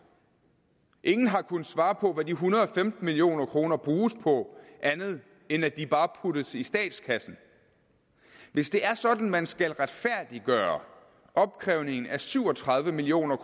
ingen har kunnet svare på hvad de en hundrede og femten million kroner bruges på andet end at de bare puttes i statskassen hvis det er sådan man skal retfærdiggøre opkrævningen af syv og tredive million